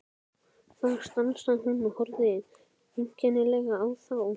Þar stansaði hún og horfði einkennilega á þá.